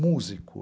músico.